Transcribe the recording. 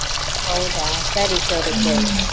ಹೌದಾ? ಸರಿ ಸರಿ .